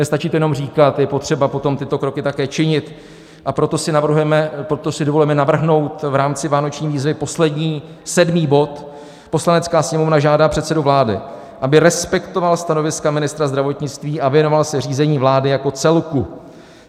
Nestačí to jenom říkat, je potřeba potom tyto kroky také činit, a proto si dovolujeme navrhnout v rámci vánoční výzvy poslední, sedmý bod: "Poslanecká sněmovna žádá předsedu vlády, aby respektoval stanoviska ministra zdravotnictví a věnoval se řízení vlády jako celku.